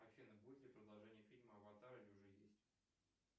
афина будет ли продолжение фильма аватар или уже есть